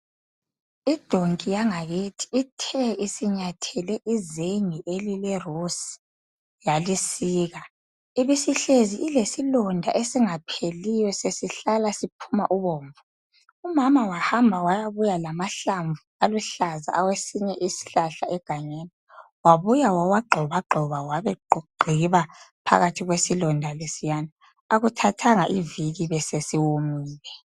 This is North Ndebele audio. Idonki yangakithi ithe isinyathele izenge elilerusi yalisika ibisihlezi ilesilonda esingapheliyo sesihlala siphuma ubomvu, umama wahamba wayabuya lamahlamvu aluhlaza awesinye isihlahla egangeni wabuya wawagxobagxoba wabegqiba phakathi kwesilonda lesiyana akuthathanga iviki besesiwomile.